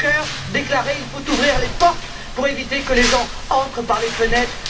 M. Juncker déclarer qu'il faut ouvrir les portes pour éviter que les gens n'entrent par les fenêtres.